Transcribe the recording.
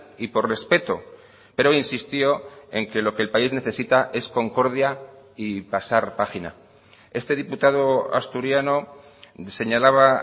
y por respeto pero insistió en que lo que el país necesita es concordia y pasar página este diputado asturiano señalaba